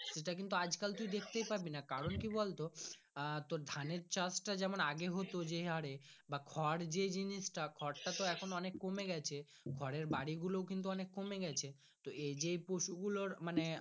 সেটা কিন্তু আজ কাল তুই দেখতে পাবি না কারণ কি বলতো আহ তো ধানের চাষ তা জম্ম আগে হতো যেই হরে বা খোর যেই জিনিস তা খোর তা তোএখন অনেক কমে গাছে খড়ের বাড়ি গুলো কিন্তু অনেক কমে গাছে তো এই যে পশুগুলোর মানে।